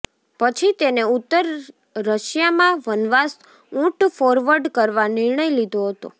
પછી તેને ઉત્તર રશિયામાં વનવાસ ઊંટ ફોરવર્ડ કરવા નિર્ણય લીધો હતો